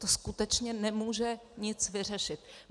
To skutečně nemůže nic vyřešit.